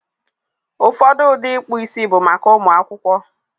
Ụfọdụ ụdị ịkpụ isi bụ maka ụmụ akwụkwọ.